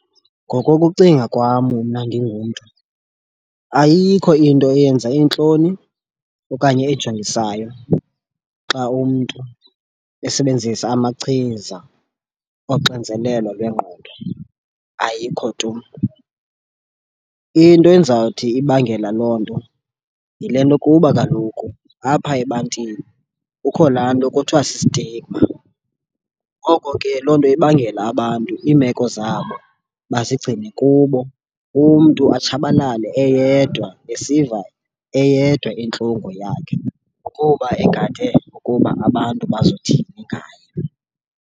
Ngokokucinga kwam mna ndingumntu ayikho into eyenza iintloni okanye ejongisayo xa umntu esebenzisa amachiza oxinzelelo lwengqondo ayikho tu. Into endizawuthi ibangela loo nto yile nto kuba kaloku apha ebantwini kukho laa nto kuthiwa si-stigma. Ngoko ke loo nto ibangela abantu iimeko zabo bazigcine kubo umntu atshabalale eyedwa esiva eyedwa intlungu yakhe kuba egade ukuba abantu bazothini ngaye.